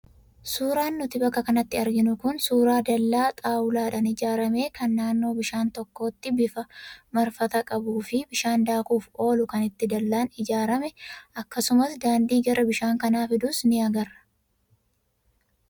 Suuraan nuti bakka kanatti arginu kun suuraa dallaa xaawulaadhaan ijaarame kan naannoo bishaan tokkootti bifa marfataa qabuu fi bishaan daakuuf oolu kan itti dallaan ijaarane akkasumas daandii gara bishaan kanaa fidus ni agarra.